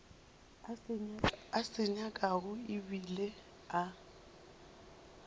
a se nyakago ebile a